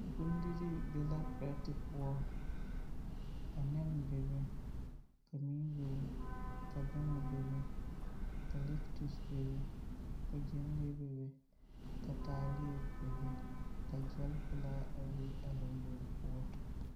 Bondirii be la perɛte poɔ. Ka nɛne bebe, ka mui bebe, ka bɛŋɛ bebe ka lɛgtus bebe, ka gyɛnlee bebe, ka taaleɛ bebe, ka gyɛlpelaa a be a lombori poɔ.